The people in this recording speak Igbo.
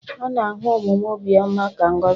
A na-ahụ omume obiọma ka ngọzi.